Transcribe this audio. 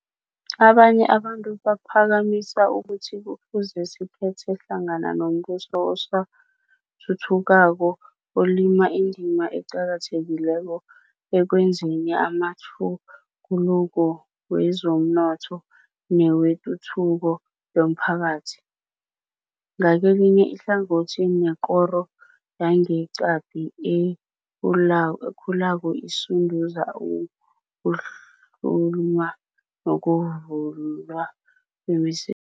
Abanye abantu baphakamisa ukuthi kufuze sikhethe hlangana nombuso osathuthukako olima indima eqakathekileko ekwenzeni amatjhuguluko wezomnotho newetuthuko yomphakathi, ngakelinye ihlangothi nekoro yangeqadi ekhulako esunduza ukuhluma nokuvulwa kwemise